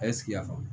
A ye sigi y'a faamu